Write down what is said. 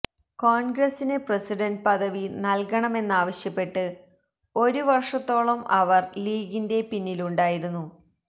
കോണ്ഗ്രസിന് പ്രസിഡന്റ് പദവി നല്കണമെന്നാവശ്യപ്പെട്ട് ഒരു വര്ഷത്തോളം അവര് ലീഗിന്റെ പിന്നിലുണ്ടായിരുന്നു